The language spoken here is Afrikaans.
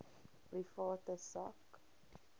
private sak